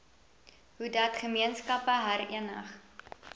hoedat gemeenskappe herenig